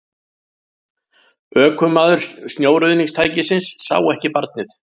Ökumaður snjóruðningstækisins sá ekki barnið